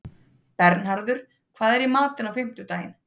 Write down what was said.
Bernharður, hvað er í matinn á fimmtudaginn?